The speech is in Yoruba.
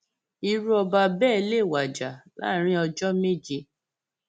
irú ọba bẹẹ lè wájà láàrin ọjọ méje